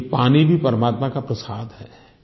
ये पानी भी परमात्मा का प्रसाद है